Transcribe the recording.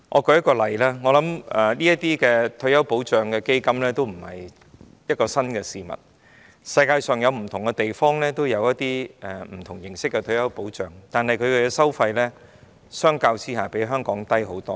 舉例而言，我相信退休保障基金已非新事物，世界各地均有不同形式的退休保障，但相比之下，其收費遠低於香港。